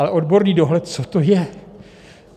Ale odborný dohled, co to je?